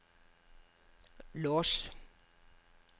lås